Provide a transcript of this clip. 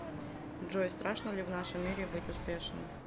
джой страшно ли в нашем мире быть успешным